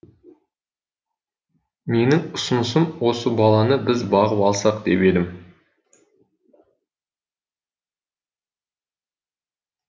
менің ұсынысым осы баланы біз бағып алсақ деп едім